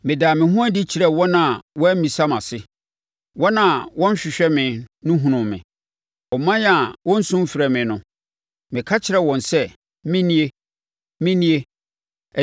“Medaa me ho adi kyerɛɛ wɔn a wɔammisa mʼase; wɔn a wɔnhwehwɛ me no hunuu me. Ɔman a wɔnnsu mfrɛ me no Meka kyerɛɛ wɔn sɛ, ‘Me nie, Me nie.’